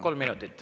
Kolm minutit.